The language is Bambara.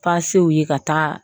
Pasew u ye ka taa